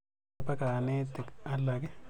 Tos kopa kanetik alake.